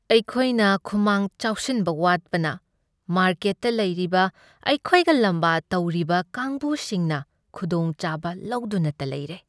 ꯑꯩꯈꯣꯏꯅ ꯈꯨꯃꯥꯡ ꯆꯥꯎꯁꯤꯟꯕ ꯋꯥꯠꯄꯅ ꯃꯥꯔꯀꯦꯠꯇ ꯂꯩꯔꯤꯕ ꯑꯩꯈꯣꯏꯒ ꯂꯥꯝꯕ ꯇꯧꯔꯤꯕ ꯀꯥꯡꯒꯨꯁꯤꯡꯅ ꯈꯨꯗꯣꯡꯆꯥꯕ ꯂꯧꯗꯨꯅꯇ ꯂꯩꯔꯦ ꯫